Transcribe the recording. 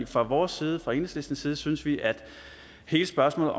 fra vores side fra enhedslistens side synes vi at hele spørgsmålet